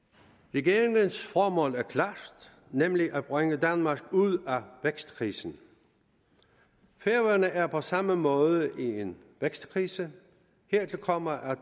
regeringens formål er klart nemlig at bringe danmark ud af vækstkrisen færøerne er på samme måde i en vækstkrise hertil kommer at